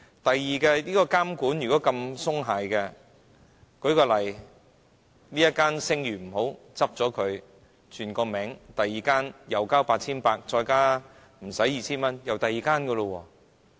第二，監管如果這麼鬆懈的話，舉例這間聲譽不好，關閉它，改另一個名，再繳交 8,800 元及少於 2,000 元，又是另一間。